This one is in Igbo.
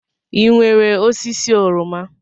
Ị nwere osisi oroma?